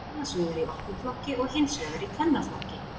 Annars vegar í opnum flokki og hins vegar í kvennaflokki.